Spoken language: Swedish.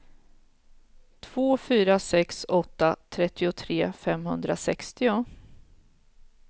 två fyra sex åtta trettiotre femhundrasextio